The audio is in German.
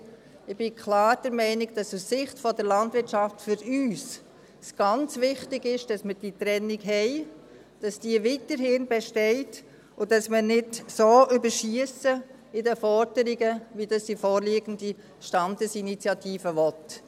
Ich bin klar der Meinung, dass es aus Sicht der Landwirtschaft für uns ganz wichtig ist, dass wir diese Trennung haben, dass diese weiterhin besteht und dass wir in den Forderungen nicht so überschiessen, wie dies die vorliegende Standesinitiative will.